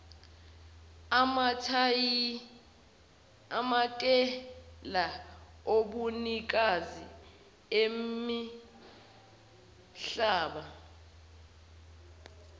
amatayitela obunikazi bemihlaba